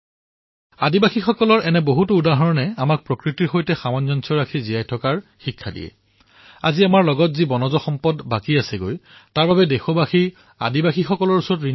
আদিবাসী সম্প্ৰদায়ৰ এনেকুৱা উদাহৰণ বহু আছে যিয়ে আমাক প্ৰকৃতিৰ সৈতে কিদৰ সামঞ্জস্য বৰ্তাই ৰাখিব লাগে সেই বিষয়ে শিক্ষা দিয়ে আৰু আজি আমাৰ ওচৰত যি বনজ সম্পদ আছে তাৰবাবে দেশ আমাৰ আদিবাসীসকলৰ ওচৰত ঋণী